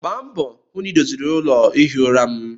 Gbaa mbọ hụ na ị doziri ụlọ ihi ụra m!